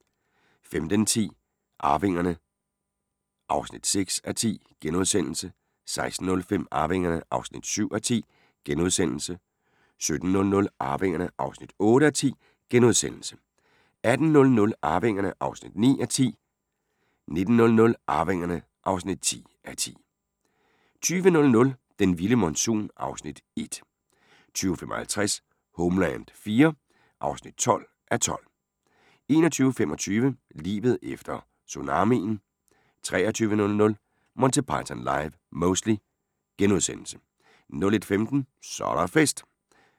15:10: Arvingerne (6:10)* 16:05: Arvingerne (7:10)* 17:00: Arvingerne (8:10)* 18:00: Arvingerne (9:10) 19:00: Arvingerne (10:10) 20:00: Den vilde monsun (Afs. 1) 20:55: Homeland IV (12:12)* 21:45: Livet efter tsunamien 23:00: Monty Python Live (Mostly) * 01:15: Så er der fest!